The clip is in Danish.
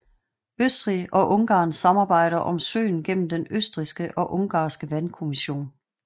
Østrig og Ungarn samarbejder om søen gennem den østrigske og ungarske vandkommission